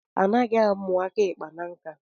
Anaghi amu aka ikpa na nka.